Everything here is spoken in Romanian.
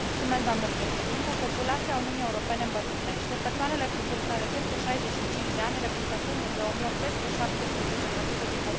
Populația Uniunii Europene îmbătrânește, persoanele cu vârsta de peste 65 de ani reprezentând în 2008 peste 17 din populația Uniunii.